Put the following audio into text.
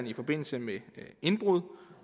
i forbindelse med indbrud